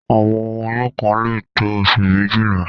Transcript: Àwọn oyún kan lè tó oṣù méjìlá.